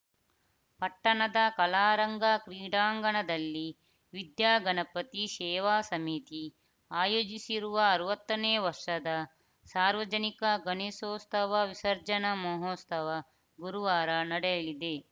ಪಟ್ಟಣದ ಕಲಾರಂಗ ಕ್ರೀಡಾಂಗಣದಲ್ಲಿ ವಿದ್ಯಾಗಣಪತಿ ಸೇವಾ ಸಮಿತಿ ಆಯೋಜಿಸಿರುವ ಅರವತ್ತನೇ ವರ್ಷದ ಸಾರ್ವಜನಿಕ ಗಣೇಶೋತ್ಸವ ವಿಸರ್ಜನಾ ಮಹೋತ್ಸವ ಗುರುವಾರ ನಡೆಯಲಿದೆ